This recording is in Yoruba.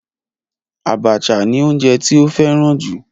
Abacha ni oúnjẹ tí ó fẹ́ràn jù.